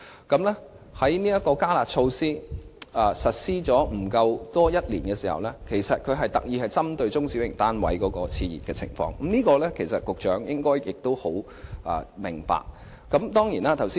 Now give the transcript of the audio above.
"加辣"措施實施不足一年，而這些措施是政府特意針對中小型單位市場的熾熱情況而設，局長應該很明白。